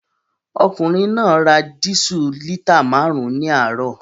Ọkùnrin náà ra dísù lítà márùn-ún ní àárọ̀